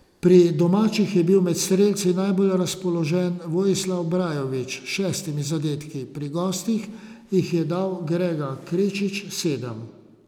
Pri domačih je bil med strelci najbolj razpoložen Vojislav Brajović s šestimi zadetki, pri gostih jih je dal Grega Krečič sedem.